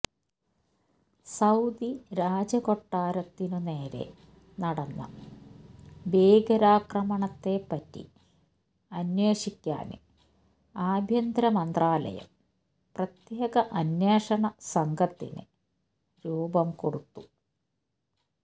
Saudi രാജകൊട്ടാരത്തിനു നേരെ നടന്ന ഭീകരാക്രമണത്തെ പറ്റി അന്വേഷിക്കാന് ആഭ്യന്തരമന്ത്രാലയം പ്രത്യേക അന്വേഷണ സംഘത്തിന് രൂപം കൊടുത്തു